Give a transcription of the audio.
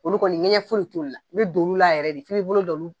Olu kɔni ŋɛɲɛ foyi t'olu la i be don olu la yɛrɛ de f'i bi bolo da olu